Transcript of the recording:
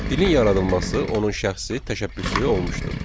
Dilin yaradılması onun şəxsi təşəbbüsü olmuşdu.